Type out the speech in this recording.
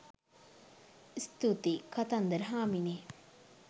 ස්තුතියි! කතන්දර හාමිනේ